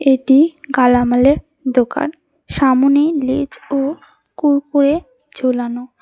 এটি গালামালের দোকান সামনে লেজ ও কুড়কুড়ে ঝোলানো।